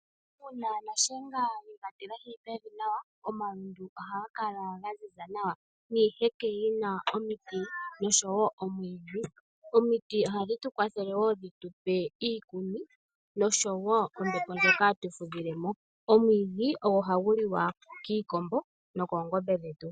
Uuna nashenga ye ga tilahi pevi nawa omalundu ohaga kala ga ziza nawa niiheke yi na omiti nosho wo omwiidhi. Omiti ohadhi tu kwathele wo dhi tu pe iikuni nosho wo ombeo ndjoka hatu fudhile mo. Omwiidhi ogo hagu liwa kiikombo nokoongombe dhetu.